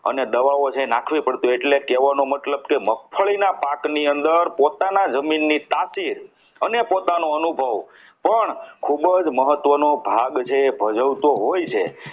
દવાઓ જે નાખવી પડતી હોય છે એટલે કહેવાનો મતલબ કે મગફળીના પાક ની અંદર પોતાના જમીનની તાસીર અને પોતાનો અનુભવ પણ ખૂબ જ મહત્વનો ભાગ જે ભજવતો હોય છે.